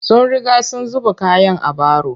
Sun riga sun zuba kayan a baro